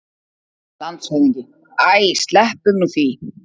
LANDSHÖFÐINGI: Æ, sleppum nú því!